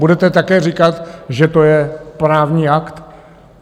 Budete také říkat, že to je právní akt?